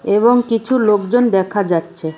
এবং কিছু লোকজন দেখা যাচ্ছে।